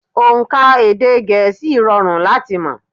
Ònkà èdè gẹ̀ẹ́sì rọrùn láti mọ̀